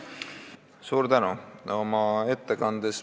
Suur tänu!